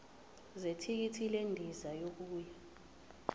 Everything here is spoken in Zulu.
zethikithi lendiza yokuya